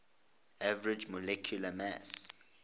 average molecular mass